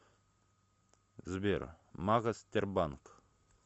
сбер магас тербанк